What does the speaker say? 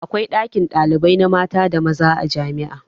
Akwai ɗakin ɗalibai na mata da maza a jami'a.